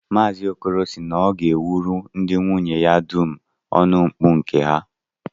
Maazi Okoro sị na ọ ga-ewuru ndị nwunye ya dum ọnụmkpu nke ha